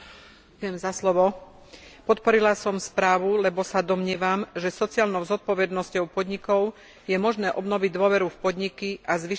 Podporila som správu, lebo sa domnievam, že sociálnou zodpovednosťou podnikov je možné obnoviť dôveru v podniky a zvýšiť ich konkurencieschopnosť.